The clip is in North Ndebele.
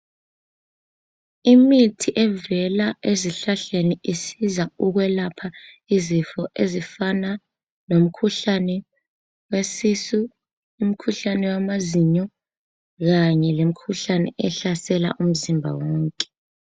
Imithi evela ezihlahleni isiza ukwelapha izifo ezifana lomkhuhlane wesisu, umkhuhlane wamazinyo kanye lemikhuhlane ehlasela umzimba wonke.